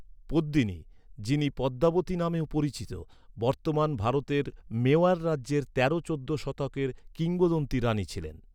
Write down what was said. পদ্মিনী, যিনি পদ্মাবতী নামেও পরিচিত, বর্তমান ভারতের মেওয়ার রাজ্যের তেরো চোদ্দ শতকের কিংবদন্তি রানী ছিলেন।